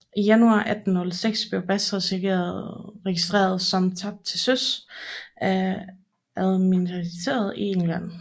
I januar 1806 blev Bass registreret som tabt til søs af Admiralitetet i England